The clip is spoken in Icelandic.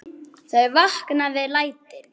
Þau vakna við lætin.